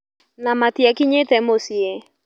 Na matiakinyĩte muciĩ.